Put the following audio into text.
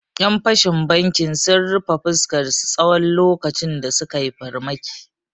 Ƴan fashin bankin sun rufe fuskarsu tsawon lokacin da sukai farmaki